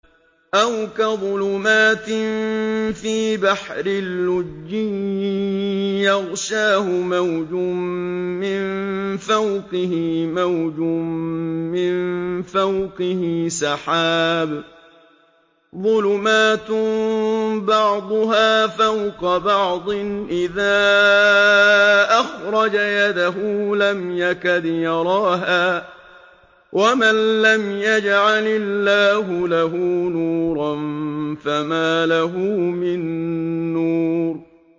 أَوْ كَظُلُمَاتٍ فِي بَحْرٍ لُّجِّيٍّ يَغْشَاهُ مَوْجٌ مِّن فَوْقِهِ مَوْجٌ مِّن فَوْقِهِ سَحَابٌ ۚ ظُلُمَاتٌ بَعْضُهَا فَوْقَ بَعْضٍ إِذَا أَخْرَجَ يَدَهُ لَمْ يَكَدْ يَرَاهَا ۗ وَمَن لَّمْ يَجْعَلِ اللَّهُ لَهُ نُورًا فَمَا لَهُ مِن نُّورٍ